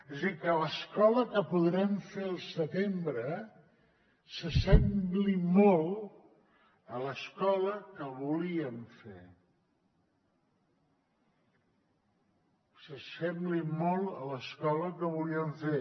és a dir que l’escola que podrem fer al setembre s’assembli molt a l’escola que volíem fer s’assembli molt a l’escola que volíem fer